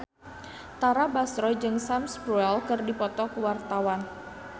Tara Basro jeung Sam Spruell keur dipoto ku wartawan